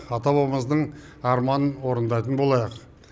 ата бабабамыздық арманын орындайтын болайық